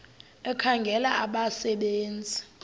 ekhangela abasebe nzi